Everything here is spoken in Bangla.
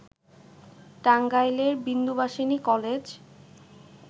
টাঙ্গাইলের বিন্দুবাসিনী কলেজ